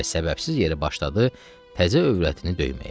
Və səbəbsiz yeri başladı təzə övrətini döyməyə.